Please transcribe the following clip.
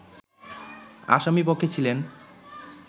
আসামি পক্ষে ছিলেন